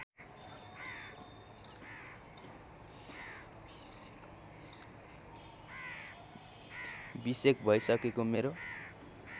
बिसेक भइसकेको मेरो